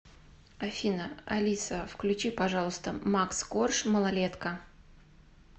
афина алиса включи пожалуйста макс корж малолетка